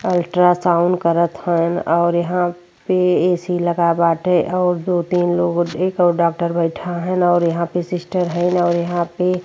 Ultra sound करत हवन और यहां पे ए.सी. लगा बाटे और दो तीन लोग एक और डॉक्टर बैठा हैन् और यहाँ पे सिस्टर हैन् और यहाँ पे --